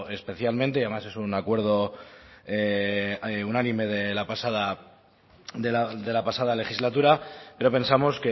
especialmente y además es un acuerdo unánime de la pasada de la pasada legislatura pero pensamos